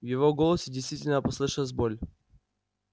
в его голосе действительно послышалась боль